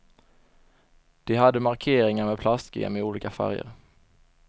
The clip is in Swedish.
De hade markeringar med plastgem i olika färger.